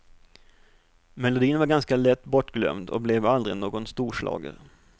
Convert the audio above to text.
Melodin var ganska lätt bortglömd och blev aldrig någon storschlager.